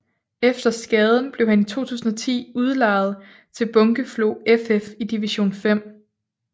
Efter skaden blev han i 2010 udlejet til Bunkeflo FF i division 5